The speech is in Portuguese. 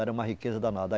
Era uma riqueza danada.